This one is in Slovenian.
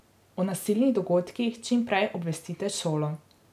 O nasilnih dogodkih čim prej obvestite šolo.